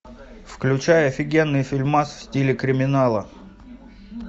включай офигенный фильмас в стиле криминала